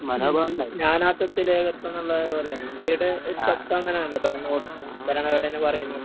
ഉം നാനാത്വത്തിൽ ഏകത്വംന്നുള്ളത് പോലെയാണ്. ഇന്ത്യയുടെ ഒരു തത്വം അങ്ങനാണല്ലോ ഭരണകൂടത്തിന് ഭരണഘടന പറയുന്നത്.